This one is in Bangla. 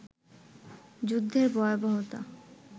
যুদ্ধের ভয়াবহতায়